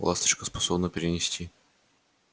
ласточка способна перенести